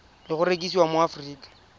le go rekisiwa mo aforika